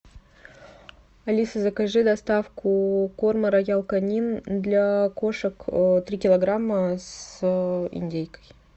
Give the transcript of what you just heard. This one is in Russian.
алиса закажи доставку корма роял канин для кошек три килограмма с индейкой